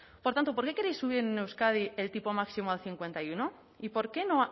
por tanto por qué queréis subir en euskadi el tipo máximo al cincuenta y uno y por qué no